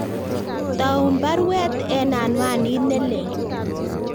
Toun baruweet en anwanit nelelach